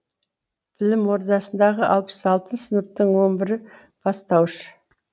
білім ордасындағы алпыс алты сыныптың он бірі бастауыш